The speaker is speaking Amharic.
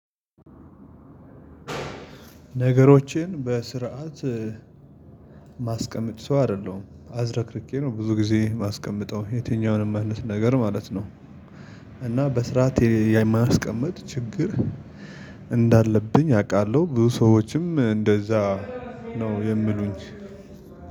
ነገሮችን በስርዓት እማስቀምጥ ሰው አይደለሁም አዝረክርኬ ነው ብዙ ጊዜ የማስቀምጠው የትኛውንም አይነት ነገር ማለት ነው። እና በስርዓት የማስቀመጥ ችግር እንዳለብኝ አውቃለሁ ብዙ ሰዎችም እንደዛ ነው የምሉኝ።